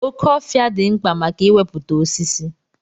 Oke ofia di mkpa maka iweputa osisi.